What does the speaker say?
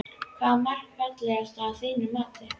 Hvaða mark er fallegast að þínu mati?